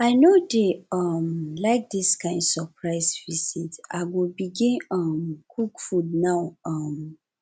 i no dey um like dis kain surprise visit i go begin um cook food now um